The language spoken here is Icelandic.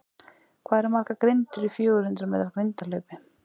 Hvað eru margar grindur í fjögur hundrað metra grindahlaupi?